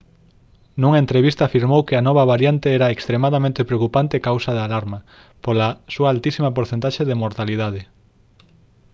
nunha entrevista afirmou que a nova variante era «extremadamente preocupante e causa de alarma pola súa altísima porcentaxe de mortalidade»